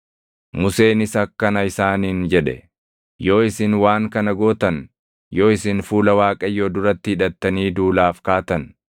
Museenis akkana isaaniin jedhe; “Yoo isin waan kana gootan, yoo isin fuula Waaqayyoo duratti hidhattanii duulaaf kaatan,